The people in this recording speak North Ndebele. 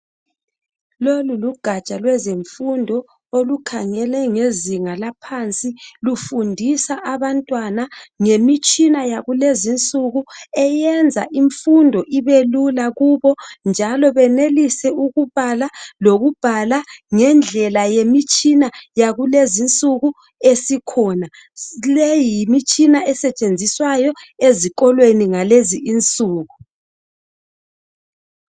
Lolu lugatsha lwezemfundo olukhangele ngezinga laphansi lufundisa abantwana ngemitshina yakulezinsuku, eyenza imfundo ibelula kubo njalo benelise ukubala lokubhala ngendlela yemitshina yakulezinsuku esikhona. Le yimitshina esetshenziswayo ezikolweni ngalezi insuku.